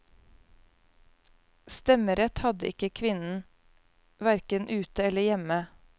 Stemmerett hadde ikke kvinnen, verken ute eller hjemme.